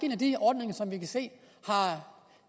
en af de ordninger som vi kan se